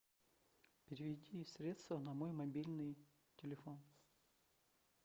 переведи средства на мой мобильный телефон